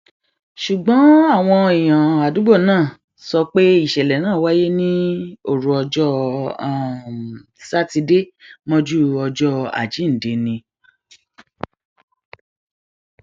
ṣùgbọn àwọn èèyàn àdúgbò náà um sọ pé ìṣẹlẹ náà wáyé ní òru ọjọ um sátidé mọjú ọjọ àjíǹde ni